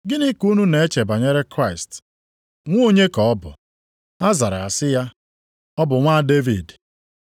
“Gịnị ka unu na-eche banyere Kraịst? Nwa onye ka ọ bụ?” Ha zara sị ya, “Ọ bụ nwa Devid.”